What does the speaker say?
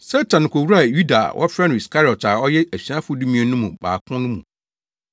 Satan kowuraa Yuda a wɔfrɛ no Iskariot a ɔyɛ asuafo dumien no mu baako no mu.